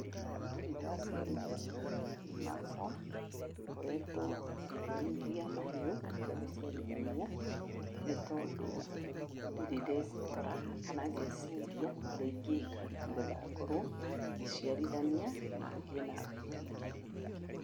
Ndirĩ ndaciarithania mahiũ makwa, ngoretwo ngĩrĩithia mahiũ itegũciarithania, nĩ tondũ ndirĩ ndekora kana ngeciria ũrĩa ingĩka nĩgetha ngorwo ngĩciarithania, na ngĩe na breed ingĩ.